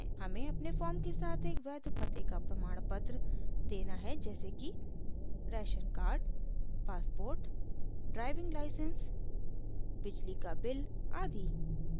हमें अपने फॉर्म के साथ एक वैध पते का प्रमाणपत्र देना है जैसे कि: